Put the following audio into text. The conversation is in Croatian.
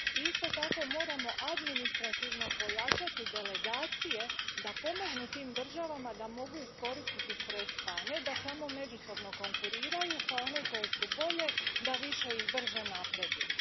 Isto tako, moramo administrativno pojačati delegacije da pomognu tim državama da mogu iskoristiti sredstva, a ne da samo međusobno konkuriraju, pa one koje su bolje da više i brže napreduju.